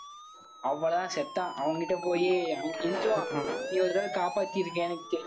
அவ்வளவுதான் செத்தான். அவன்கிட்ட போயி அவன் கெஞ்சுவான். நீ ஒரு தடவை காப்பாத்தி இருக்கியானு